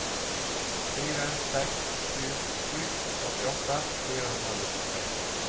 fire seks sju sju åttiåtte fire hundre og nittitre